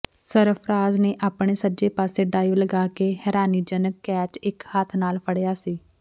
ਸਰਫ਼ਰਾਜ਼ ਨੇ ਆਪਣੇ ਸੱਜੇ ਪਾਸੇ ਡਾਈਵ ਲਗਾ ਕੇ ਹੈਰਾਨੀਜਨਕ ਕੈਚ ਇਕ ਹੱਥ ਨਾਲ ਫੜਿਆ ਸੀ